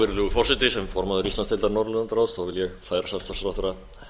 virðulegur forseti sem formaður íslandsdeildar norðurlandaráðs vil ég færa samstarfsráðherra